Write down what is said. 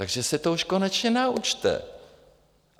Takže se to už konečně naučte!